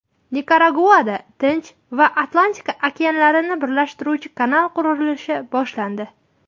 Nikaraguada Tinch va Atlantika okeanlarini birlashtiruvchi kanal qurilishi boshlandi.